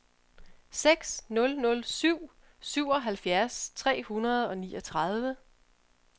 seks nul nul syv syvoghalvfjerds tre hundrede og niogtredive